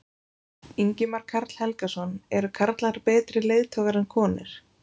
Ingimar Karl Helgason: Eru karlar betri leiðtogar en konur?